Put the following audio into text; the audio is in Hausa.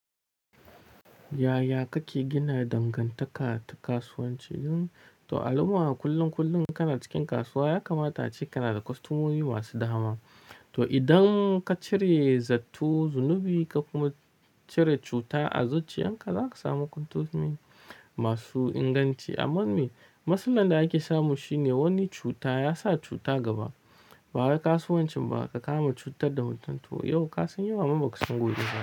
Yaya kake gina dangantaka ta kasuwanci? Don al'umma kullum, kullum kana cikin kasuwa ya kamata ce kana da kostomomi masu dama. To, idan ka cire zatto, zunubi ka kuma cire cuta a zuciyan ka, za ka samu kostomomi masu inganci. Amma me? Matsalar da ake samu shine wani cuta ya sa cuta gaba. Ba wai kasuwancin ba ka kama cutar da mutum to. Yau kasan yau amma baka san gobe ba.